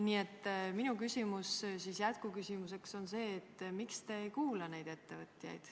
Nii et minu küsimus jätkuküsimusena on see, miks te ei kuula neid ettevõtjaid.